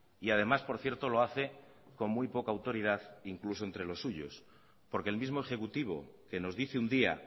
y además por cierto lo hace con muy poca autoridad incluso entre los suyos porque el mismo ejecutivo que nos dice un día